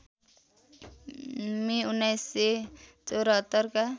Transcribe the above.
मे १९७४ का